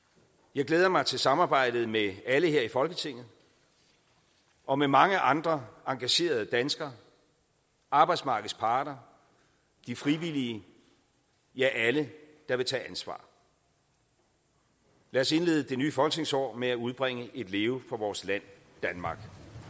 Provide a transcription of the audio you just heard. jeg glæder mig til samarbejdet med alle her i folketinget og med mange andre engagerede danskere arbejdsmarkedets parter de frivillige ja alle der vil tage ansvar lad os indlede det nye folketingsår med at udbringe et leve for vores land danmark